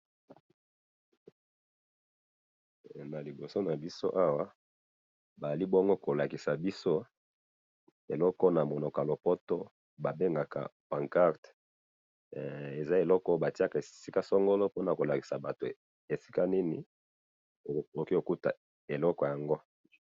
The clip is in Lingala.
na liboso nabiso awa bazali bongo kolakisa biso eloko oyo na munoko ya lopoto ba bengaka poncarte he eza eloko batiya esika songolo pona kolakisa batu esika nini okoki kokuta eloko yango